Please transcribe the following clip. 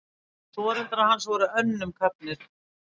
Foreldrar hans voru önnum kafnir.